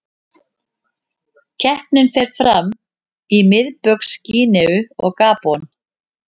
Keppnin fer fram í Miðbaugs Gíneu og Gabon.